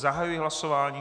Zahajuji hlasování.